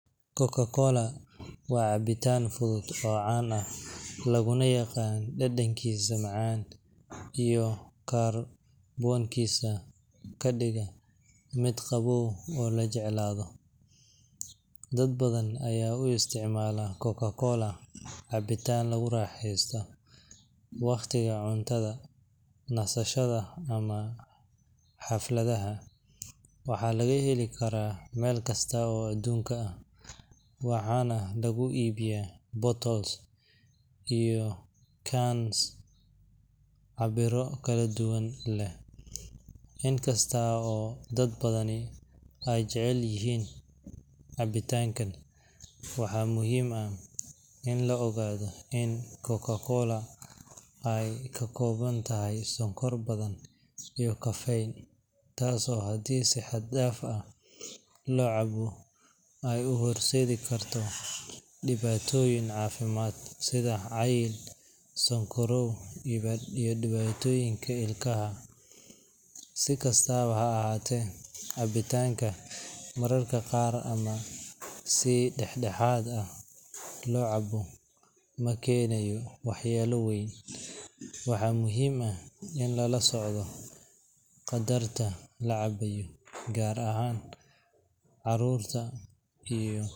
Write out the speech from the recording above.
CocaCola waa cabitaan fudud oo caan ah, laguna yaqaan dhadhankiisa macaan iyo kaarboonkiisa ka dhiga mid qabow oo la jeclaado. Dad badan ayaa u isticmaala CocaCola cabitaan lagu raaxaysto waqtiga cuntada, nasashada, ama xafladaha. Waxaa laga heli karaa meel kasta oo adduunka ah, waxaana lagu iibiyo bottles iyo cans cabbirro kala duwan leh. Inkasta oo dad badani ay jecel yihiin cabitaanka, waxaa muhiim ah in la ogaado in CocaCola ay ka kooban tahay sonkor badan iyo caffeine, taasoo haddii si xad dhaaf ah loo cabo ay u horseedi karto dhibaatooyin caafimaad sida cayil, sonkorow, iyo dhibaatooyin ilkaha ah. Si kastaba ha ahaatee, cabitaanka mararka qaar ama si dhexdhexaad ah loo cabo ma keenayo waxyeello weyn. Waxaa muhiim ah in lala socdo qadarka la cabayo, gaar ahaan carruurta iyo.